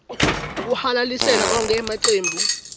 kuhalalisela onkhe emacembu